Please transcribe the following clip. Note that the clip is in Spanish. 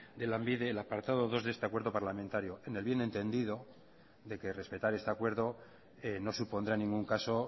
de lanbide el apartado dos de este acuerdo parlamentario en el bien entendido de que respetar este acuerdo no supondrá en ningún caso